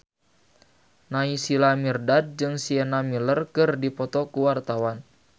Naysila Mirdad jeung Sienna Miller keur dipoto ku wartawan